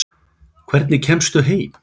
Hvernig kemstu heim?